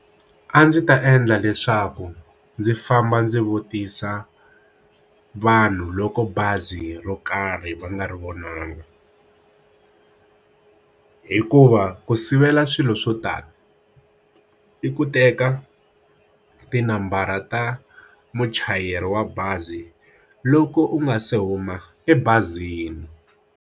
A ndzi ta endla leswaku ndzi famba ndzi vutisa vanhu loko bazi ro karhi va nga ri vunanga hikuva ku sivela swilo swo tala i ku teka tinambara ta muchayeri wa bazi loko u nga se huma ebazini.